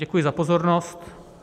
Děkuji za pozornost.